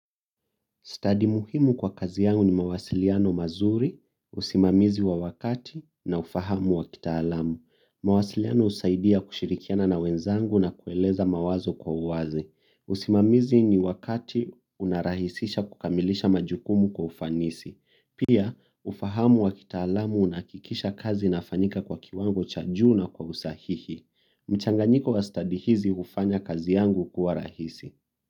Study muhimu kwa kazi yangu ni mawasiliano mazuri, usimamizi wa wakati na ufahamu wa kitaalamu. Mawasiliano husaidia kushirikiana na wenzangu na kueleza mawazo kwa uwazi. Usimamizi ni wakati unarahisisha kukamilisha majukumu kwa ufanisi. Pia, ufahamu wa kitaalamu unahakikisha kazi inafanyika kwa kiwango cha juu na kwa usahihi. Mchanganyiko wa study hizi hufanya kazi yangu kuwa rahisi.